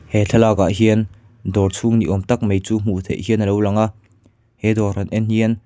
he thlalak ah hian dawr chhung ni awm tak mai chu hmuh theih hian alo lang a he dawr han en hian--